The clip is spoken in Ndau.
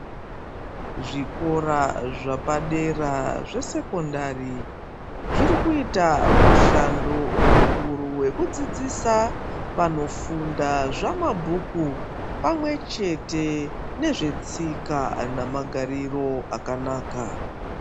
Zvikora zvepadera zvesekondari zvirikuita mushando mukuru wekudzidzisa vanofunda zvamabhuku pamwechete netsika nemagariro akanaka.